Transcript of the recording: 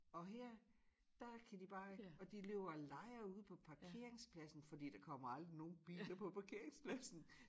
Og her der kan de bare og de løber og leger ude på parkeringspladsen fordi der kommer aldrig nogen biler på parkeingspladsen